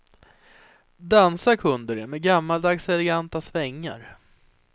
Dansa kunde de med gammaldags eleganta svängar.